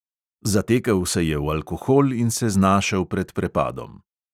Zatekel se je v alkohol in se znašel pred prepadom.